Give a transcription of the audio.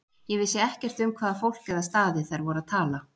Ég vissi ekkert um hvaða fólk eða staði þær voru að tala.